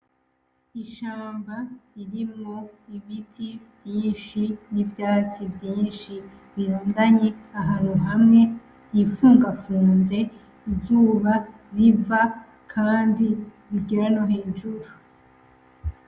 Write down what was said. Ishamba irimwo ibiti vyinshi n'ivyatsi vyinshi biranganye ahantu hamwe hifungafunze. Izuba riva kandi rigera no hejuru.